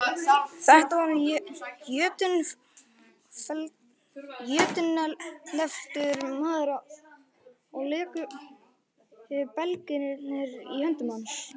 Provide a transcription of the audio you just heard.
Þetta var jötunefldur maður og léku belgirnir í höndum hans.